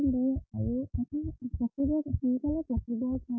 পকিব।